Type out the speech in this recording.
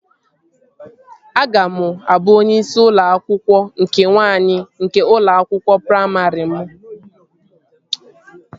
Aga m abụ onye isi ụlọ akwụkwọ nke nwaanyị nke ụlọ akwụkwọ praimarị m